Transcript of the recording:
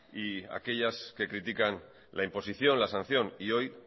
y aquellas que critican la imposición la sanción y hoy